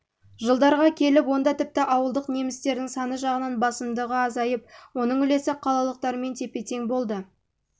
жылдарға келіп онда тіпті ауылдық немістердің саны жағынан басымдағы азайып оның үлесі қалалықтармен тепе-тең болды